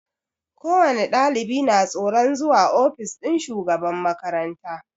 Ko wani ɗalibi na tsoron zuwa ofis ɗin shugaban makaranta